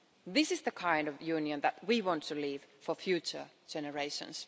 This is the kind of Union that we want to leave for future generations.